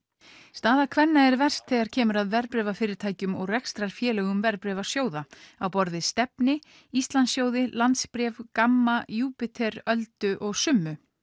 staða kvenna er verst þegar kemur að verðbréfafyrirtækjum og rekstrarfélögum verðbréfasjóða á borð við Stefni Íslandssjóði landsbréf Gamma Júpíter Alda og summa